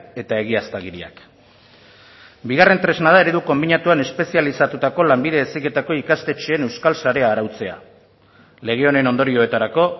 eta egiaztagiriak bigarren tresna da eredu konbinatuan espezializatutako lanbide heziketako ikastetxeen euskal sarea arautzea lege honen ondorioetarako